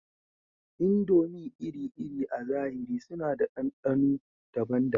Indomie iri-iri a zahiri suna da ɗanɗano daban-daban